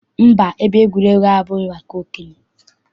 Mba, ebe egwuregwu abụghị maka okenye.